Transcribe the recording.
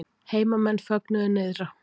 Heimamenn fögnuðu nyrðra